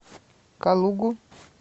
калугу